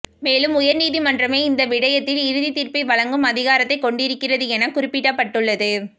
மேலும் உயர்நீதிமன்றமே இந்த விடயத்தில் இறுதித் தீர்ப்பை வழங்கும் அதிகாரத்தைக் கொண்டிருக்கிறது என குறிப்பிடப்பட்டுள்ளது